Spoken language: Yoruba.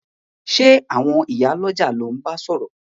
Sé àwon ìyá lójà lo n ba sòrò